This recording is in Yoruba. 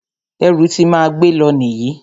Ẹrù ti máa gbé lọ nìyí.